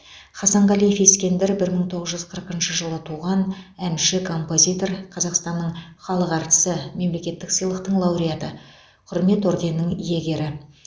хасанғалиев ескендір бір мың тоғыз жүз қырықыншы жылы туған әнші композитор қазақстанның халық әртісі мемлекеттік сыйлықтың лауреаты құрмет орденінің иегері